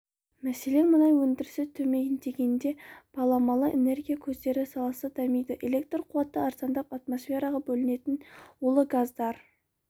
мәселен мұнай өндірісі төмендегенде баламалы энергия көздері саласы дамиды электр қуаты арзандап атмосфераға бөлінетін улы газдар